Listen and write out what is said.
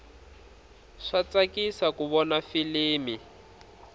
swa tsakisa ku vona filimi